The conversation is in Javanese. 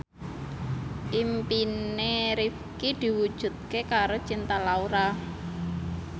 impine Rifqi diwujudke karo Cinta Laura